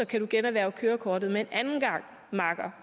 kan du generhverve kørekortet men anden gang makker